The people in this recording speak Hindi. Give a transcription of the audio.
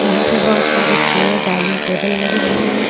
यहाँ पे बहोत सारे चेयर डायनिंग टेबल लगे हुए हे.